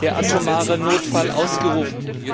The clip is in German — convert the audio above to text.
der atomare Notfall ausgerufen.